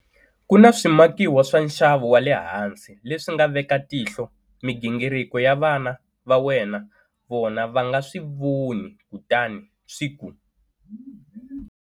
Ku na swimakiwa swa nxavo wa le hansi leswi nga veka tihlo migingiriko ya vana va wena vona va nga swi voni kutani swi ku.